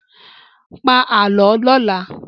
Pa Àlọ́ lọ́la!